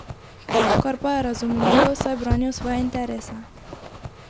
Kar pa je razumljivo, saj branijo svoje interese.